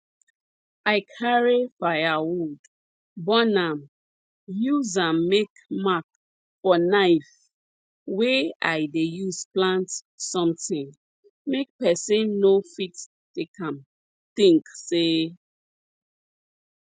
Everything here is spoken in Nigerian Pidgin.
i carry firewood burn am use am make mark for knife wey i dey use plant somtin make person no fit take am think say